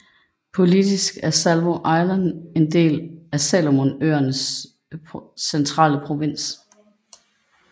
Politisk er Savo Island en del af Salomonøerne centrale provins